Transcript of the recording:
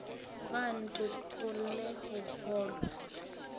ga a ntokolle go kgolwa